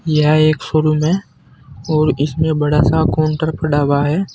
यह एक शोरूम है और इसमें बड़ा सा काउंटर पड़ा हुआ है।